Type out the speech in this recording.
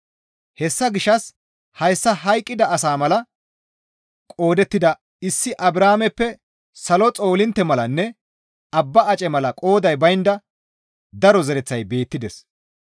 Hessa gishshas hayssa hayqqida asa mala qoodettida issi Abrahaameppe salo xoolintte malanne abba ace mala qooday baynda daro zereththay beettides.